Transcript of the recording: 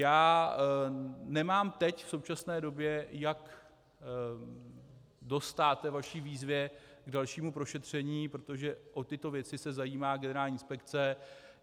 Já nemám teď, v současné době, jak dostát vaší výzvě k dalšímu prošetření, protože o tyto věci se zajímá generální inspekce.